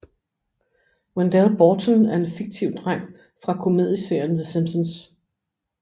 Wendell Borton er en fikiv dreng fra komedieserien The Simpsons